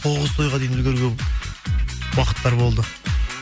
тоғыз тойға дейін үлгерген уақыттар болды